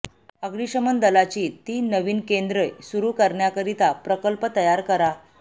अग्निशमन दलाची तीन नवीन केंदे्र सुरू करण्याकरिता प्रकल्प तयार करा